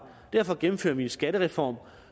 derfor gennemfører vi en skattereform